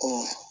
Ko